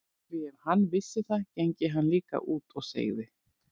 Því ef hann vissi það gengi hann líka út og segði